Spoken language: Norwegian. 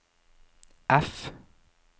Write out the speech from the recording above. F